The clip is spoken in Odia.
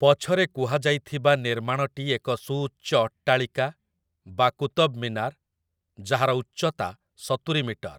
ପଛରେ କୁହାଯାଇଥିବା ନିର୍ମାଣଟି ଏକ ସୁଉଚ୍ଚ ଅଟ୍ଟାଳିକା ବା କୁତବ୍‌ମିନାର୍ ଯାହାର ଉଚ୍ଚତା ସତୁରି ମିଟର ।